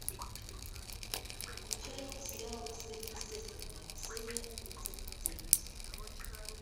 включай сериал сверхъестественное серия тридцать девять